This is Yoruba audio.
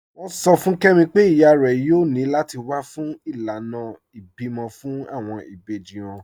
Wọn sọ̀ fún Kẹmi pẹ̀ iyá rẹ̀ yòò ní láti wà fún ilànà ìbímọ̀ fún awọn ìbèjì wọn.